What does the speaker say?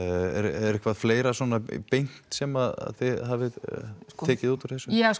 er eitthvað fleira svona beint sem að þið hafið tekið út úr þessu ja